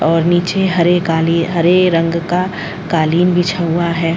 और नीचे हरे काली हरे रंग का कालीन बिछा हुआ है ।